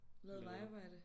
Lavet vejarbejde